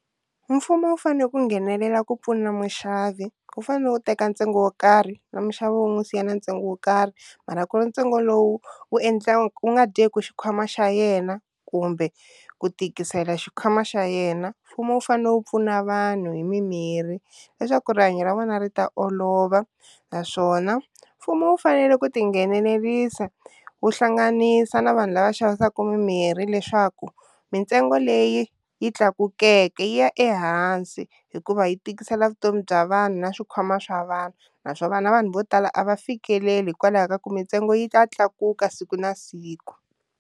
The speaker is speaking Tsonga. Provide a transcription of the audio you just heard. Mfumo wu fane ku nghenelela ku pfuna muxavi wu fanele u teka ntsengo wo karhi na muxavi wu n'wi siya na ntsengo wo karhi mara ku ntsengo lowu wu wu nga dyeki xikhwama xa yena kumbe ku tikisela xikhwama xa yena, mfumo wu fanele wu pfuna vanhu hi mimirhi leswaku rihanyo ra vona ri ta olova naswona mfumo wu fanele ku tinghenelerisa wu hlanganisa na vanhu lava xavisaka mimirhi leswaku mintsengo leyi yi tlakukeke yi ya ehansi hikuva yi tikisela vutomi bya vanhu na swikhwama swa vanhu, naswona na vanhu vo tala a va fikeleli hikwalaho ka ku mintsengo yi ta tlakuka siku na siku.